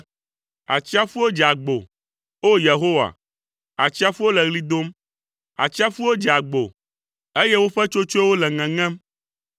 Atsiaƒuwo dze agbo, o Yehowa, atsiaƒuwo le ɣli dom, atsiaƒuwo dze agbo, eye woƒe tsotsoewo le ŋeŋem.